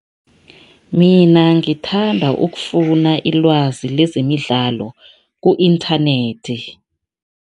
Mina ngithanda ukufuna ilwazi lezemidlalo ku-internet.